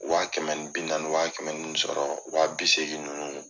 Wa kɛmɛ ni bi naani wa kɛmɛ ninnu bɛ sɔrɔ wa bi seegi ninnu.